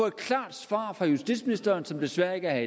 et klart svar fra justitsministeren som desværre ikke er